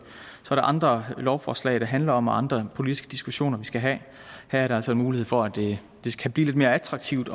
andre lovforslag det handler om og andre politiske diskussioner vi skal have her er der altså mulighed for at det kan blive lidt mere attraktivt